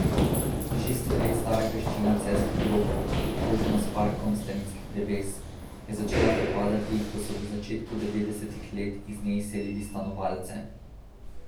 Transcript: Šeststo let stara graščina celjskih grofov, obkrožena s parkom starinskih dreves, je začela propadati, ko so v začetku devetdesetih let iz nje izselili stanovalce.